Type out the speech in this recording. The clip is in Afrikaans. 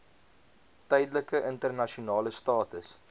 tydelike internasionale status